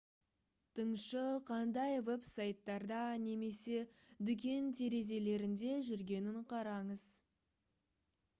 тыңшы қандай веб-сайттарда немесе дүкен терезелерінде жүргенін қараңыз